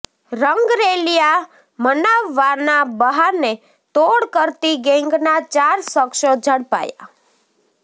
રંગરેલીયા મનાવવાના બહાને તોડ કરતી ગેંગના ચાર શખસો ઝડપાયા